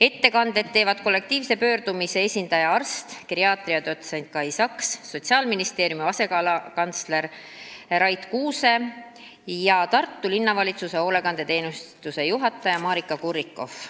Ettekanded teevad kollektiivse pöördumise esindaja, arst, geriaatria dotsent Kai Saks, Sotsiaalministeeriumi sotsiaalala asekantsler Rait Kuuse ja Tartu Linnavalitsuse hoolekandeteenistuse juhataja Maarika Kurrikoff.